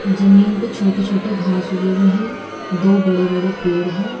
जमीन पे छोटे छोटे घास उगे हुए है दो बड़े बड़े पेड़ हैं।